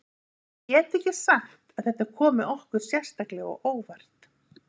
Ég get ekki sagt að þetta komi okkur sérstaklega á óvart.